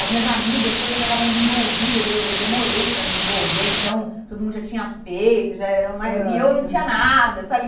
As minhas amigas todas já estavam desenvolvidas, eu demorei para me desenvolver, então todo mundo já tinha peito, já eram, aham, e eu não tinha nada, sabe?